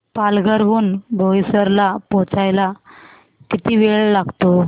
पालघर हून बोईसर ला पोहचायला किती वेळ लागतो